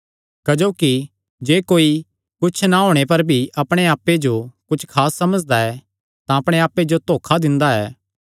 क्जोकि जे कोई कुच्छ ना होणे पर भी अपणे आप्पे जो कुच्छ खास समझदा ऐ तां अपणे आप्पे जो धोखा दिंदा ऐ